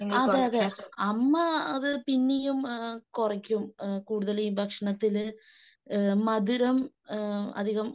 അതെയതെ അമ്മ അത് പിന്നെയും കുറയ്ക്കും. കൂടുതലും ഈ ഭക്ഷണത്തില് ഏഹ് മധുരം അധികം ഏഹ്